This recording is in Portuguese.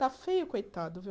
Está feio, coitado, viu?